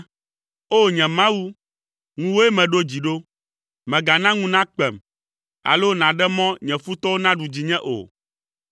O! Nye Mawu, ŋuwòe meɖo dzi ɖo. Mègana ŋu nakpem, alo nàɖe mɔ nye futɔwo naɖu dzinye o.